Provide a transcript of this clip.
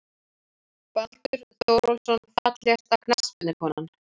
Baldur Þórólfsson Fallegasta knattspyrnukonan?